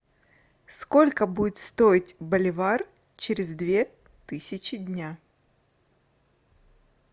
сколько будет стоить боливар через две тысячи дня